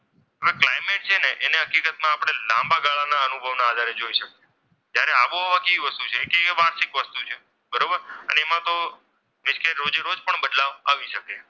climax છે ને તેની આપણે હકીકતમાં લાંબા ગાળાના અનુભવ ના આધારે જોઈ શકાય છે. જ્યારે આબોહવા એ કેવી વસ્તુ છે કે એ વાર્ષિક વસ્તુ છે બરોબર અને એ એમાં તો રોજે રોજ બદલાવ આવી શકે છે.